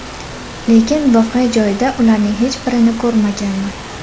Lekin voqea joyida ularning hech birini ko‘rmaganman.